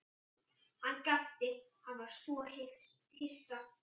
Hann gapti, hann var svo hissa.